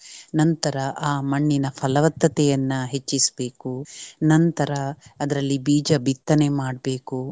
ನಂತರ ಆಹ್ ಮಣ್ಣಿನ ಫಲವತ್ತತೆಯನ್ನು ಹೆಚ್ಚಿಸ್ಬೇಕು ನಂತರ ಅದ್ರಲ್ಲಿ ಬೀಜ ಬಿತ್ತನೆ ಮಾಡ್ಬೇಕು.